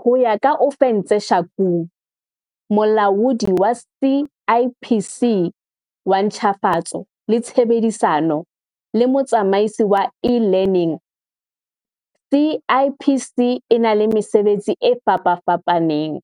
Ho ya ka Ofentse Shakung, Molaodi wa CIPC wa Ntjhafatso le Tshebedisano le Motsamaisi wa E-learning, CIPC e na le mesebetsi e fapafapaneng,